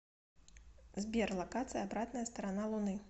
сбер локация обратная сторона луны